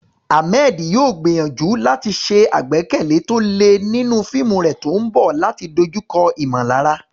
Ahmed yóò gbìyànjú láti ṣe àgbékalẹ̀ tó le nínú fíìmù rẹ̀ tó ń bọ̀ láti dojúkọ ìmọ̀lára.